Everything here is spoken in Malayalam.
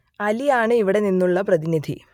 അലി ആണ് ഇവിടെ നിന്നുള്ള പ്രതിനിധി